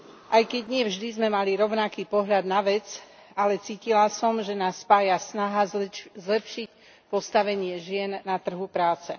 Aj keď nie vždy sme mali rovnaký pohľad na vec, ale cítila som, že nás spája snaha zlepšiť postavenie žien na trhu práce.